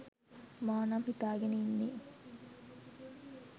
මා නම් හිතාගෙන ඉන්නේ.